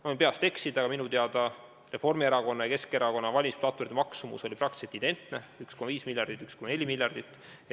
Ma võin peast öeldes eksida, aga minu teada oli Reformierakonna ja Keskerakonna valimisplatvormi nn maksumus praktiliselt identne: 1,5 miljardit ja 1,4 miljardit.